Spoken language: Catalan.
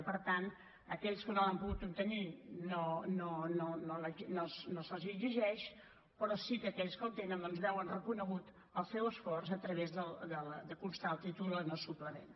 i per tant a aquells que no l’han pogut obtenir no se’ls exigeix però sí que aquells que el tenen veuen reconegut el seu esforç a través de constar el títol en el suplement